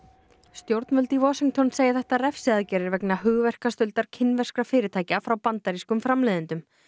stjórnvöld í Washington segja þetta refsiaðgerðir vegna hugverkastuldar kínverskra fyrirtækja frá bandarískum framleiðendum